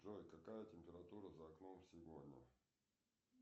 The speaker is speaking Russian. джой какая температура за окном сегодня